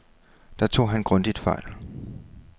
Der tog han grundigt fejl.